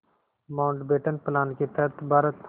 Mountbatten plan के तहत भारत